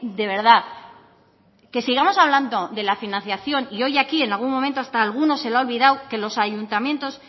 de verdad que sigamos hablando de la financiación y hoy aquí en algún momento hasta a algunos se le ha olvidado que los ayuntamientos